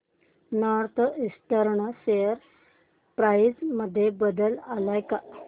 north eastern share price मध्ये बदल आलाय का